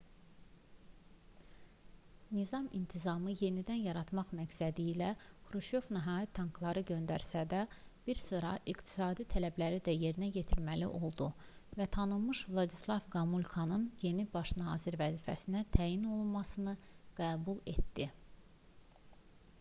nizam-intizamı yenidən yaratmaq məqsədilə xruşov nəhayət tankları göndərsə də bir sıra iqtisadi tələbləri də yerinə yetirməli oldu və tanınmış vladislav qomulkanın yeni baş nazir vəzifəsinə təyin olunmasını qəbul etdi